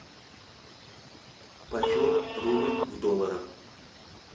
почем рубль в долларах